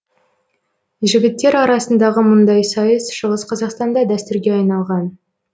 жігіттер арасындағы мұндай сайыс шығыс қазақстанда дәстүрге айналған